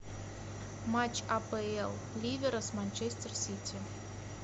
матч апл ливера с манчестер сити